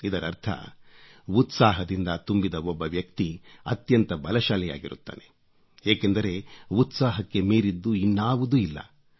ಇದರರ್ಥ ಉತ್ಸಾಹದಿಂದ ತುಂಬಿದ ಒಬ್ಬ ವ್ಯಕ್ತಿ ಅತ್ಯಂತ ಬಲಶಾಲಿಯಾಗಿರುತ್ತಾನೆ ಏಕೆಂದರೆ ಉತ್ಸಾಹಕ್ಕೆ ಮೀರಿದ್ದು ಇನ್ನಾವುದೂ ಇಲ್ಲ